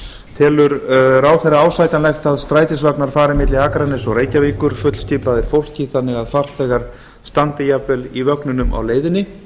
telur ráðherra ásættanlegt að strætisvagnar fari milli akraness og reykjavíkur fullskipaðir fólki þannig að farþegar standi jafnvel í vögnunum á leiðinni